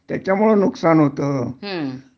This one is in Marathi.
त्याच्यामुळं नुकसान होतं